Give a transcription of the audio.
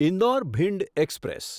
Indore Bhind express